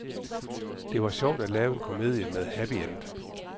Det var sjovt at lave en komedie med happy end.